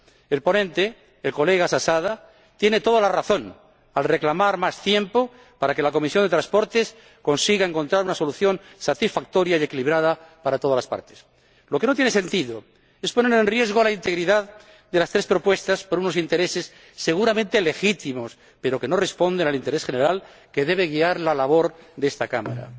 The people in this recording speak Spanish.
El ponente, el señor Zasada, tiene toda la razón al reclamar más tiempo para que la Comisión de Transportes y Turismo consiga encontrar una solución satisfactoria y equilibrada para todas las partes. Lo que no tiene sentido es poner en riesgo la integridad de las tres propuestas por unos intereses, seguramente legítimos, pero que no responden al interés general que debe guiar la labor de esta Cámara.